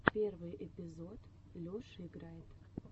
первый эпизод леша играет